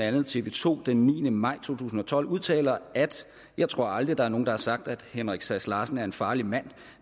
andet tv to den niende maj to tusind og tolv udtaler at jeg tror aldrig der er nogen der har sagt at henrik sass larsen er en farlig mand